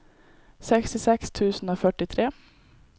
sekstiseks tusen og førtitre